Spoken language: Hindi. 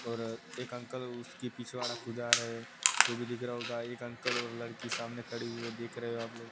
और एक अंकल उसकी पिछवाड़ा खुदा रहे वो भी दिख रहा होगा एक अंकल और लड़की सामने खड़ी हुए देख रहे हो आप लोग।